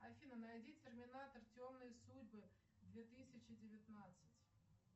афина найди терминатор темные судьбы две тысячи девятнадцать